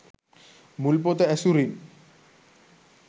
මුල් පොත ඇසුරින්